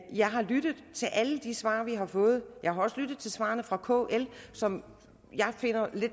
jeg har lyttet til alle de svar vi har fået jeg har også lyttet til svarene fra kl som jeg finder